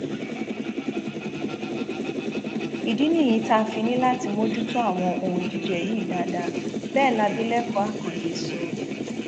ìdí nìyí tá a fi ní láti mójútó àwọn ohun jíjẹ yìí dáadáa bẹẹ làbìlẹkọ akande sọ